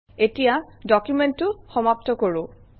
এতিয়া ডকুমেণ্টটো সমাপ্ত কৰোঁ